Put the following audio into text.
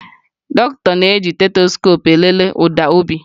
Dọkịta na-eji stetoskoopu elele ụda obi